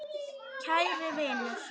Kæri vinur.